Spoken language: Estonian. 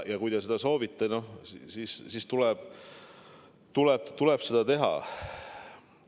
Kui te seda soovite, siis tuleb seda teha.